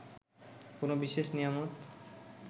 কোনো বিশেষ নিয়ামত